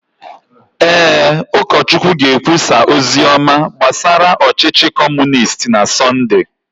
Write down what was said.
Ee, ụkọchukwu ga-ekwusa ozi ọma gbasara ọchịchị Kọmunisti na Sọnde.